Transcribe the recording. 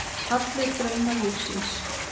Allir draumar lífsins.